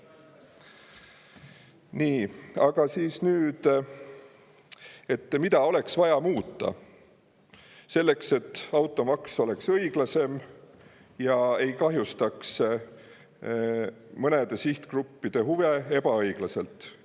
Nii, aga nüüd: mida oleks vaja muuta selleks, et automaks oleks õiglasem ega kahjustaks mõnede sihtgruppide huve ebaõiglaselt?